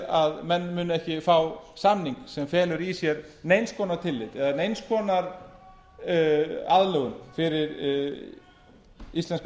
að menn munu ekki fá samning sem felur í sér neins konar tillit eða neins konar aðlögun fyrir íslenska